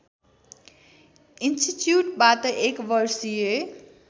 इन्टिच्युटबाट एक वर्षीय